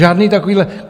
Žádné takovéhle...